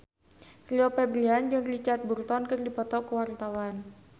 Rio Febrian jeung Richard Burton keur dipoto ku wartawan